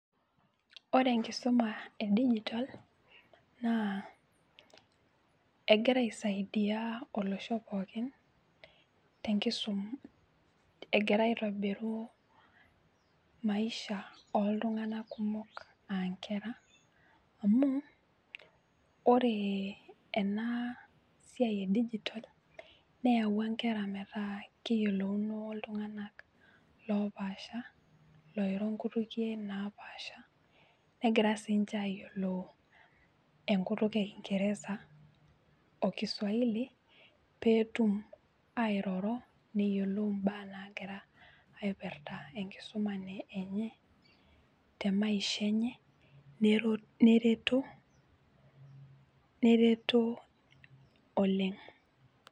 Ore enkisuma edigitol naa egira aisaidia olosho pookin tenkisum, egira aitobiruu  maisha ooltung'ana kumok aankera. Amuu oree ena siai edigitol neyauwa nkera metaa keyelouno oltung'anak loopasha looiro nkutukie naapasha negira siinche ayiolou enkutuk ekingeresa o kiswahili peetum airoro neyelou imbaa nagira aipirta enkisuma nee enye temaisha enye [nero] nereto, neretoo oleng'.